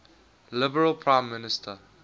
liberal prime minister